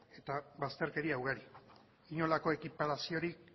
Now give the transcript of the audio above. eta bazterkeria ugari inolako ekiparaziorik